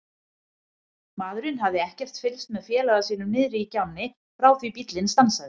Maðurinn hafði ekkert fylgst með félaga sínum niðri í gjánni frá því bíllinn stansaði.